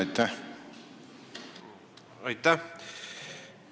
Aitäh!